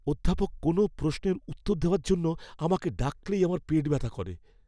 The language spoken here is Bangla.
অধ্যাপক কোনো প্রশ্নের উত্তর দেওয়ার জন্য আমাকে ডাকলেই আমার পেটে ব্যথা করে।